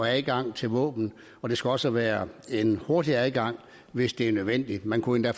adgang til våben og det skal også være en hurtig adgang hvis det er nødvendigt man kunne